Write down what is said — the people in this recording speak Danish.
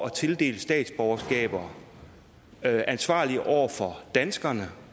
at tildele statsborgerskaber er ansvarlig over for danskerne